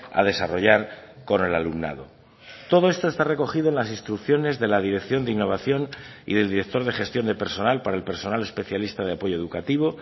a desarrollar con el alumnado todo esto está recogido en las instrucciones de la dirección de innovación y del director de gestión de personal para el personal especialista de apoyo educativo